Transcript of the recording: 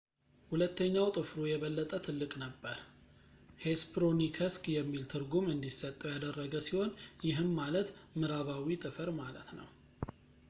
ሁለተኛው ጥፍሩ የበለጠ ትልቅ ነበር ሄስፐሮኒከስ የሚል ትርጉም እንዲሰጠው ያደረገ ሲሆን ይህም ማለት ምዕራባዊ ጥፍር ማለት ነው